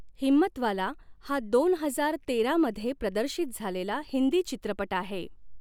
हिम्मतवाला हा दोन हजार तेरा मध्ये प्रदर्शित झालेला हिंदी चित्रपट आहे .